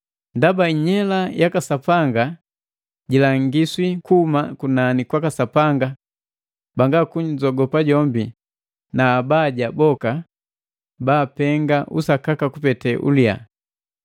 Ndaba inyela yaka Sapanga jilangiswi kuhuma kunani kwaka Sapanga banga kunzogopa jombi na abaja boka baapenga usakaka kupete uliya.